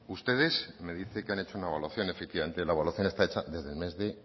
ustedes me dice que han hecho una evaluación efectivamente la evaluación está hecha desde el mes de